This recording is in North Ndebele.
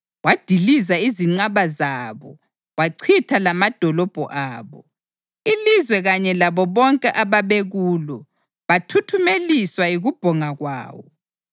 Wadiliza izinqaba zabo wachitha lamadolobho abo. Ilizwe kanye labo bonke ababekulo bathuthumeliswa yikubhonga kwawo.